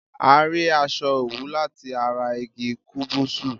A rí aṣọ òwú lati ará igi kúbúsú